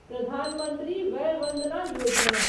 Pradhan Mantri Vaya Vandana Yojana